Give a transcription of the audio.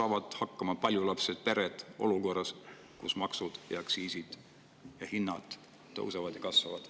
Kuidas saavad paljulapselised pered hakkama olukorras, kus maksud, aktsiisid ja hinnad tõusevad?